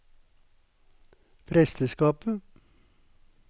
presteskapet